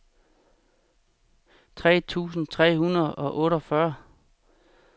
tres tusind tre hundrede og otteogfyrre